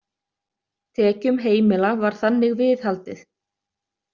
Tekjum heimila var þannig viðhaldið.